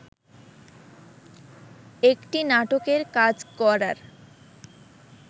একটি নাটকের কাজ করার